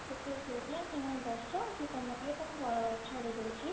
ସେ ଲାଗି ସେ କହିଲା ତମେ ବସ ମୁଁ ତମକୁ ନେଇକି ତମ ଛାଡି ଦଉଛି